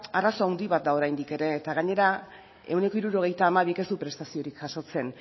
arazo haundi bat da oraindik ere eta gainera ehuneko hirurogeita hamabik ez du prestaziorik jasotzen